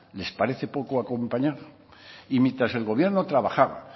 les parece poco acompañar y mientras el gobierno trabajaba